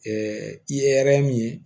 i ye min ye